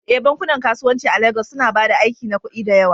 Eh, bankunan kasuwanci a Legas suna ba da aiki na kuɗi da yawa